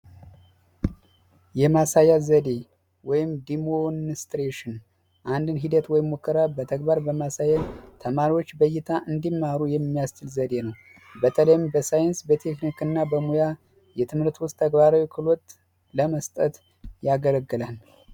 የማሳያ ዘዴ ወይም ዲሞንስትሬሽን አንድን ነገር በተግባር በማሳየት ተመሪዎች በእይታ እንዲማሩ የሚያስችል ዘዴ ነው። በተለይም በሳይንስና በቴክኒክ እና ሙያ የትምህርት ውስጥ ተግባራዊ ክህሎት ለመስጠት ያገለግላል።